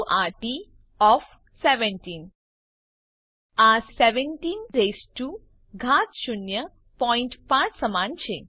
આ 17 raised to ઘાત શૂન્ય પોઈન્ટ પાંચ સમાન છે